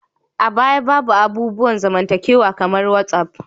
A baya, babu abubuwan zamantakewa kamar whatsap